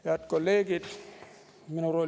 Head kolleegid!